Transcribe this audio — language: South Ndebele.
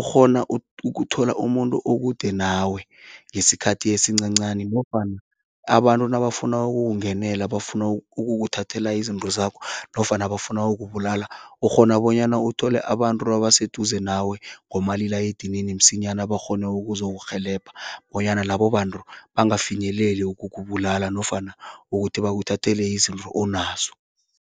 ukghona ukuthola umuntu okude nawe ngesikhathi esincancani nofana abantu nabafuna ukukungenela bafuna ukuthathela izinto zakho nofana bafuna ukubulala, ukghona bonyana uthole abantu abaseduze nawe ngomalila edinini msinyana bakghone ukuzokurhelebha bonyana labo bantu bangafinyeleli ukukubulala nofana ukuthi bakuthathele izinto onazo.